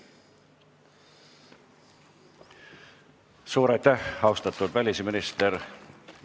Suur aitäh, austatud välisminister!